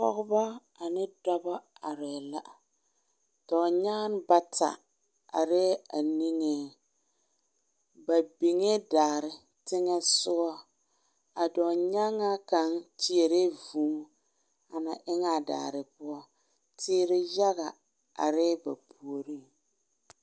Pɔgeba ane dɔba arɛɛ la dɔɔnyanne bata arɛɛ a niŋeŋ ba niŋee daare teŋa soga a dɔɔnyaŋaa kaŋa kyɛrɛɛ vûū ana eŋaa daare poɔ teere yaga arɛɛ ba puoriŋ